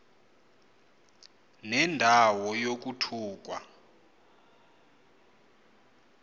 nenda wo yokuthukwa